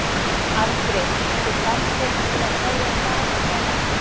Andri: Þú komst hérna til að kveðja staðinn eða?